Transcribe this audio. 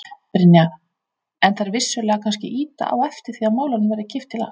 Brynja: En þær vissulega kannski ýta á eftir því að málunum verði kippt í lag?